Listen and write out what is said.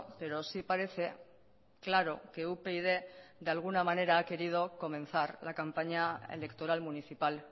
pero sí parece claro que upyd de alguna manera ha querido comenzar la campaña electoral municipal